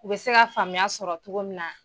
U bɛ se ka faamuya sɔrɔ togo min na.